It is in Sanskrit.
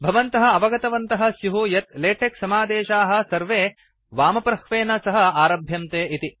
भवन्तः अवगतवन्तः स्युः यत् लेटेक् समादेशाः सर्वे वामप्रह्वेन सह आरभन्ते इति